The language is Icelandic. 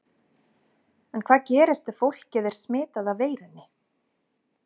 En hvað gerist ef fólkið er smitað af veirunni?